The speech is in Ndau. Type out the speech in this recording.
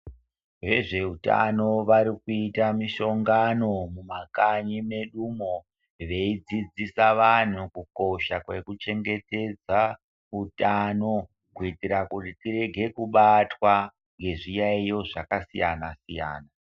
Vezveutano varikuita mishongano mumakanyi medumo veidzidzisa vantu kukosha kwekuchengetedza utano. Kuitira kuti tirege kubatwa ngezviyaiyo zvakasiyana-siyana.